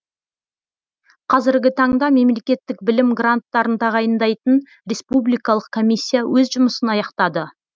қазіргі таңда мемлекеттік білім гранттарын тағайындайтын республикалық комиссия өз жұмысын аяқтады